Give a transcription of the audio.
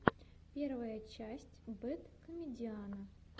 первая часть бэд комедиана